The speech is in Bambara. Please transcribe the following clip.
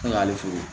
Ne y'ale fe yen